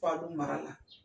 Falu mara la.